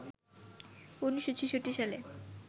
১৯৬৬ সালে